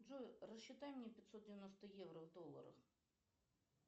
джой рассчитай мне пятьсот девяносто евро в долларах